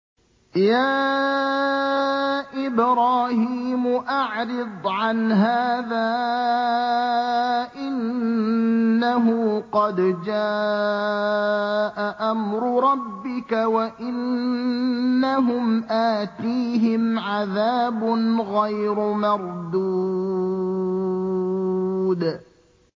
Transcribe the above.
يَا إِبْرَاهِيمُ أَعْرِضْ عَنْ هَٰذَا ۖ إِنَّهُ قَدْ جَاءَ أَمْرُ رَبِّكَ ۖ وَإِنَّهُمْ آتِيهِمْ عَذَابٌ غَيْرُ مَرْدُودٍ